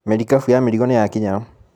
Merikabu ya mĩrigo nĩyakinya.